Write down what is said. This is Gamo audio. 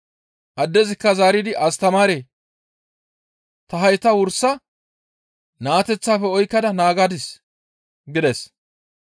Addezikka zaaridi, «Astamaaree! Ta hayta wursa naateththafe oykkada naagadis» gides.